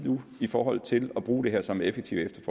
i forhold til at bruge det her som et effektivt